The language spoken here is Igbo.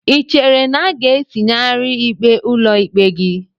Ị chere na a ga-etinyegharị ikpe ụlọikpe gị?